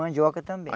Mandioca também.